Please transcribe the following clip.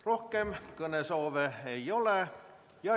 Rohkem kõnesoove ei ole.